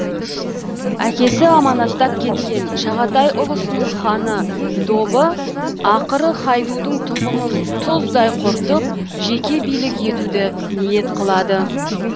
әкесі аманаттап кеткен шағатай ұлысының ханы добы ақыры хайдудың тұқымын тұздай құртып жеке билік етуді ниет қылады